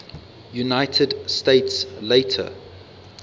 united states later